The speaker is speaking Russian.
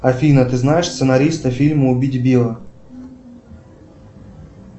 афина ты знаешь сценариста фильма убить билла